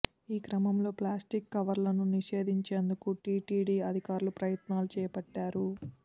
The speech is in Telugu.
ఈ క్రమంలో ప్లాస్టిక్ కవర్లను నిషేధించేందుకు టీటీడీ అధికారులు ప్రయత్నాలు చేపట్టారు